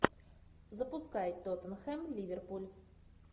запускай тоттенхэм ливерпуль